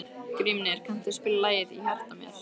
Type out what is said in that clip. Grímnir, kanntu að spila lagið „Í hjarta mér“?